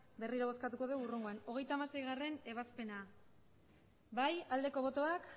berriro bozkatuko dugu hurrengoan hogeita hamaseigarrena ebazpena aldeko botoak